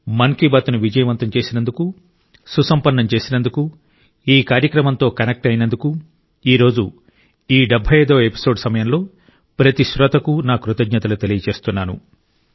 మన్ కీ బాత్ ను విజయవంతం చేసినందుకు సుసంపన్నం చేసినందుకు ఈ కార్యక్రమంతో కనెక్ట్ అయినందుకు ఈ రోజు ఈ 75 వ ఎపిసోడ్ సమయంలో ప్రతి శ్రోతకు నా కృతజ్ఞతలు తెలియజేస్తున్నాను